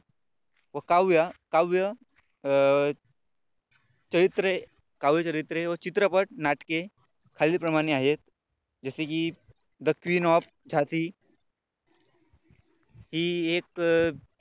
काव्य काव्य चरित्रे काव्यचरित्रे व चित्रपट नाटके खालील प्रमाणे आहेत जसे की The queen of झांसी की एक